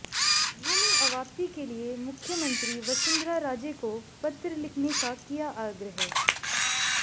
भूमि अवाप्ति के लिए मुख्यमंत्री वसुंधरा राजे को पत्र लिखने का किया आग्रह